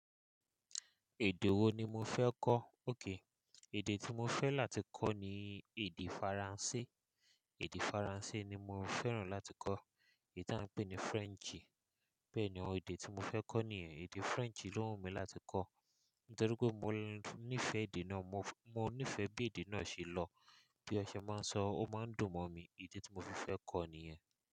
Èdè wo ni mo fẹ́ kọ́? Ókay, èdè tí mo fẹ́ láti kọ́ ni èdè Faransé. Èdè Faransé ni mo fẹ́ràn láti kọ́. Èyí tí à ń pè ní French. Bẹ́ẹ̀ni o, èdè tí mo fẹ́ kọ́ nìyẹn. Èdè French ló wù mí láti kọ́, nítorí pé mo nífẹ̀ẹ́ èdè náà. Mo, mo nífẹ̀ẹ́ bí èdè náà ṣe lọ. Bí ọṣẹ máa ń sọ, ó máa ń dùn mọ̀ mí. Èdè tí mo fi fẹ́ kọ́ nìyẹn.